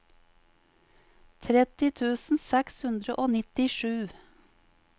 tretti tusen seks hundre og nittisju